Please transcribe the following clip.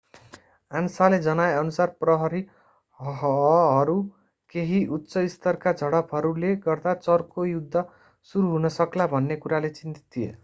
आन्साले जनाएअनुसार प्रहरीहहरू केही उच्च-स्तरका झडपहरूले गर्दा चर्को युद्ध सुरु हुन सक्ला भन्ने कुराले चिन्तित थिए